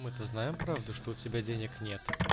мы-то знаем правда что у тебя денег нет